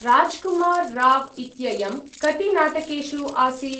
राज्कुमार् राव् इत्ययं कति नाटकेषु आसीत्?